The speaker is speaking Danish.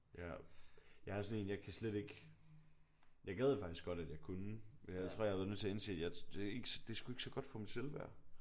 Ja. Jeg er sådan en jeg kan slet ikke jeg gad faktisk godt at jeg kunne men jeg tror jeg har været nødt til at indse det er sgu ikke så godt for mit selvværd